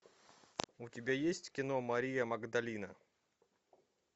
у тебя есть кино мария магдалина